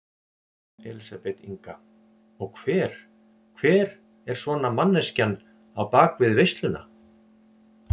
Elísabet Inga: Og hver, hver er svona manneskjan á bakvið veisluna?